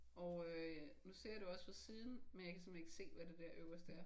Og øh nu ser jeg det jo også fra siden men jeg kan simpelthen ikke se hvad det der øverste er